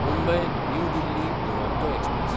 Mumbai New Delhi Duronto express